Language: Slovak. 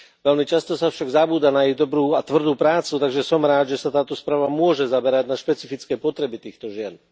Veľmi často sa však zabúda na ich dobrú a tvrdú prácu, takže som rád, že sa táto správa môže zamerať na špecifické potreby týchto žien.